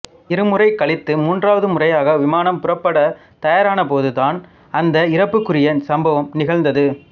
இருமுறை கழித்து மூன்றாவது முறையாக விமானம் புறப்பட தயாரானபோது தான் அந்த இறப்பிற்குரிய சம்பவம் நிகழ்ந்தது